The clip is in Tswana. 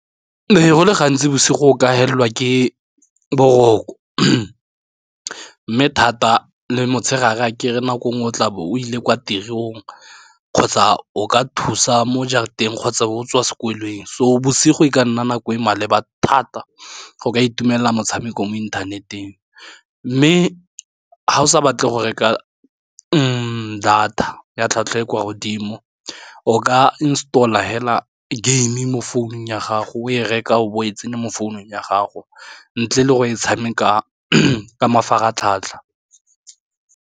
Ee, go le gantsi bosigo o ka helelwa ke boroko mme thata le motshegare a kere nako nngwe o tlabo o ile kwa tirong kgotsa o ka thusa mo jarateng kgotsa o tswa sekweleng so bosigo e ka nna nako e maleba thata, go ka itumelela motshameko mo inthaneteng, mme ga o sa batle go reka data ya tlhwatlhwa e kwa godimo o ka installer hela game mo founung ya gago o e reka o bo o e tsene mo founung ya gago ntle le go e tshameka ka mafaratlhatlha.